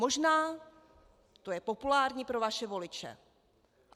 Možná to je populární pro vaše voliče.